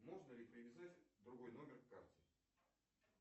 можно ли привязать другой номер к карте